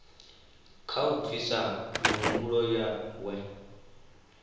kha u bvisa mihumbulo yawe